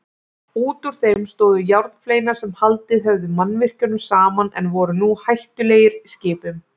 Útúr þeim stóðu járnfleinar sem haldið höfðu mannvirkjunum saman en voru nú hættulegir skipum.